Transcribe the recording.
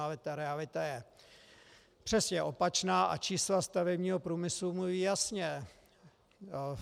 Ale ta realita je přesně opačná a čísla stavebního průmyslu mluví jasně.